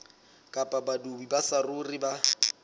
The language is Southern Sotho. kapa badudi ba saruri ba